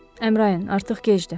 Əmrain, artıq gecdir.